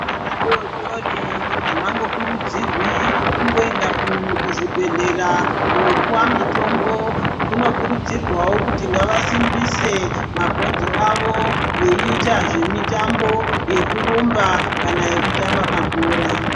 Vana vadori dori havangokurudzirwi kungoenda kuzvibhedhleya kunopiwe mitombo. Kunokurudzirwawo kuti ngavasimbise mabhonzo avo veiita zvemitambo yekurumba kana yekutamba mabhora.